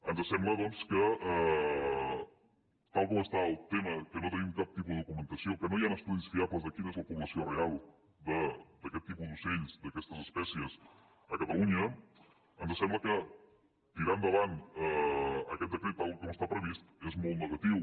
ens sembla doncs que tal com està el tema que no tenim cap tipus de documentació que no hi han estudis fiables de quina és la població real d’aquest tipus d’ocells d’aquestes espècies a catalunya ens sembla que tirar endavant aquest decret tal com està previst és molt negatiu